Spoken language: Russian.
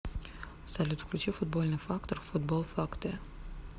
салют включи футбольный фактор футбол фактэ